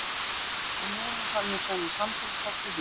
En nú er hún farin að semja samtalsþátt í huganum.